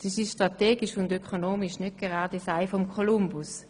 Das ist strategisch und ökonomisch nicht gerade das Ei des Kolumbus.